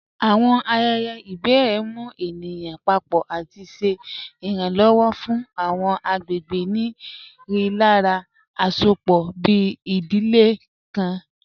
Awọn ayẹyẹ ibèrè mù ènìyàn pàpọ̀ àti ṣè iranlọwọ̀ fún awọn agbegbe ni rílàrá àṣọpọ̀, bí ìdílé nlá kàn.